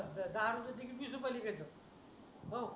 दहा रुपये ची वीस रुपयाला भेटेल